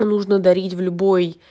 нужно дарить в любой